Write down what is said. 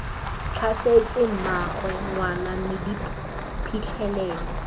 tlhasetse mmaagwe ngwana mme diphitlhelelo